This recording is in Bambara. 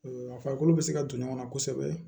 A farikolo bɛ se ka don ɲɔgɔn na kosɛbɛ